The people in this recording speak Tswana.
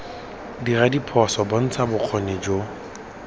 dira diphoso bontsha bokgoni jo